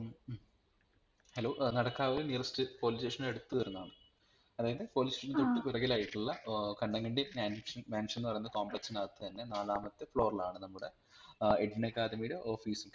മ്മ് മ് hello ഏർ Nadakkavu nearestpolice station അടുത്ത് വരുന്നതാണ് അതായത് police station തൊട്ട് പിറകിലായിട്ടുള്ള ഏർ കണ്ണങ്കണ്ടി mansion എന്ന് പറയുന്ന complex നകത്തു തന്നെ നാലാമത്തെ floor ലാണ് നമ്മുടെ ഏർ എഡ്വിൻ അക്കാഡമിയുടെ office ഉം